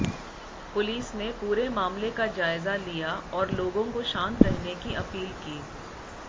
police ने पुरे मामले का जायजा लिया और लोगो को शांत रहने की अपील की